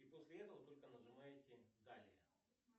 и после этого только нажимаете далее